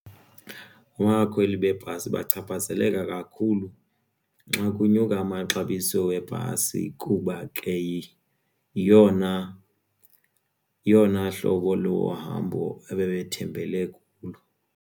Abakweli beebhasi bachaphazeleka kakhulu xa kunyuka amaxabiso webhasi kuba ke yeyona hlobo lohambo ebebethembele kuloo.